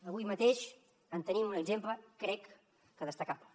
avui mateix en tenim un exemple crec que destacable